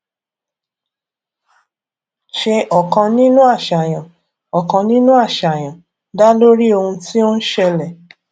ṣe ọkàn nínú àṣàyàn ọkàn nínú àṣàyàn dá lórí ohun tí ó ń ṣẹlẹ